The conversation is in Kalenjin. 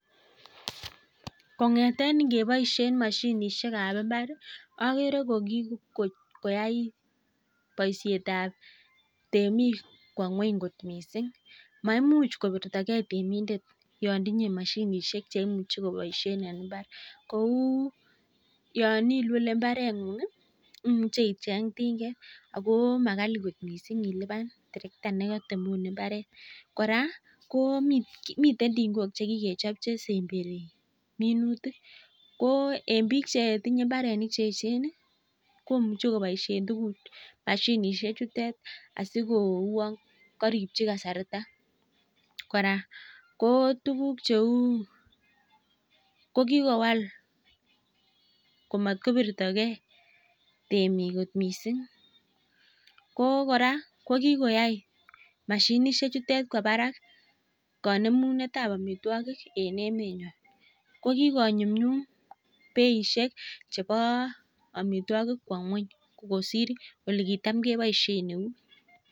Kong'eten keboisien mashinisiek kab imbar agere kikotaret boisietab temik kwo ngueny kot missing, maimuch kobirtage Yoon tinye mashinisiek kobaishen en imbar kouu Yoon ilule imbaret ng'ung ih koimuche icheng ting'et akomakali kot missing iluban Karit kora ko miten ting'ok chekikechob chesemberi minutik ko en bik chetinye imbarenik cheechen ih komuche kobaishien mashinisiek chutet asikouon karibchi kasarta kora ko tuguk cheuu, kokikowal komatkobirtoke temik missing ko kikoyai mashinisiek chutet kwo barak kang'unyng'unetab amituakik en emetnyon kokikonyumnyum beishek kab amituogik kosir olikitamkebaishen eut.